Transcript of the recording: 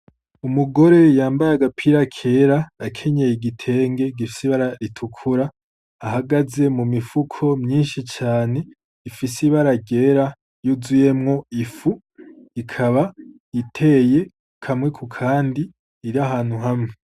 Umugore yambaye agapira kera akenyeye igitenge gifise ibara ritukura ahagaze mu mifuko myinshi cane ifise ibara ryera yuzuyemwo ifu, ikaba iteye kamwe kukandi iri ahantu hamwe.